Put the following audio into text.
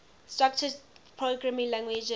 structured programming languages